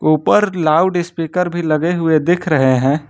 ऊपर लाउडस्पीकर भी लगे हुए दिख रहे हैं।